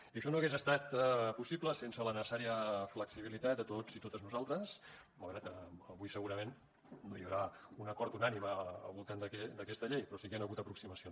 i això no hagués estat possible sense la necessària flexibilitat de tots i totes nosaltres malgrat que avui segurament no hi haurà un acord unànime al voltant d’aquesta llei però sí que hi han hagut aproximacions